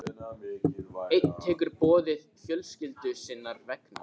Einn tekur boðinu fjölskyldu sinnar vegna.